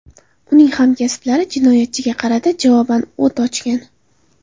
Uning hamkasblari jinoyatchiga qarata javoban o‘t ochgan.